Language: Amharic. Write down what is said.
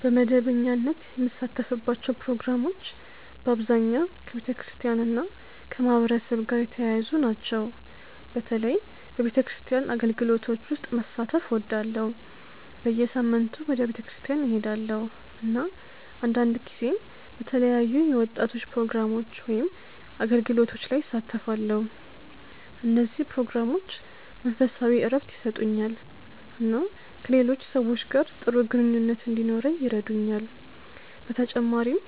በመደበኛነት የምሳተፍባቸው ፕሮግራሞች በአብዛኛው ከቤተክርስቲያን እና ከማህበረሰብ ጋር የተያያዙ ናቸው። በተለይ በቤተክርስቲያን አገልግሎቶች ውስጥ መሳተፍ እወዳለሁ። በየሳምንቱ ወደ ቤተክርስቲያን እሄዳለሁ፣ እና አንዳንድ ጊዜ በተለያዩ የወጣቶች ፕሮግራሞች ወይም አገልግሎቶች ላይ እሳተፋለሁ። እነዚህ ፕሮግራሞች መንፈሳዊ እረፍት ይሰጡኛል እና ከሌሎች ሰዎች ጋር ጥሩ ግንኙነት እንዲኖረኝ ይረዱኛል። በተጨማሪም